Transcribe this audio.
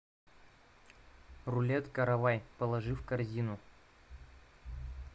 рулет каравай положи в корзину